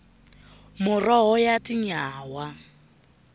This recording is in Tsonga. muroho ya tinyawa